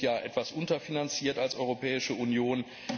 Wir sind ja etwas unterfinanziert als Europäische Union.